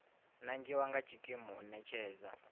nangiwa nga tshikimu u ṋetshedza